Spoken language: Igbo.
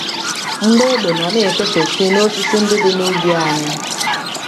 Mgbọ égbè nọ na - efefesị n’osisi ndị dị n’ubi anyị.